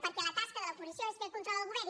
perquè la tasca de l’oposició és fer control al govern